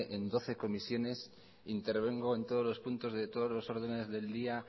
en doce comisiones intervengo en todos los puntos de todos los ordenes del día